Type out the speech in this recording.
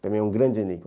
Também é um grande enigma.